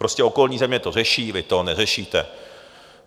Prostě okolní země to řeší, vy to neřešíte.